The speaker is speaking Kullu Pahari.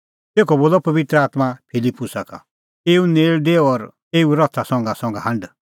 तेखअ बोलअ पबित्र आत्मां फिलिप्पुसा का एऊ नेल़ डेऊ और एऊए रथा संघासंघा हांढ